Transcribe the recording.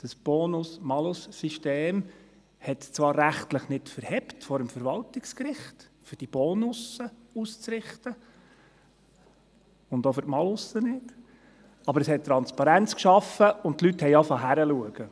Das Bonus-Malus-System hielt zwar vor dem Verwaltungsgericht rechtlich nicht stand, um die Boni auszurichten – und auch für die Malusse nicht –, aber es schuf Transparenz, und die Leute begannen, hinzuschauen.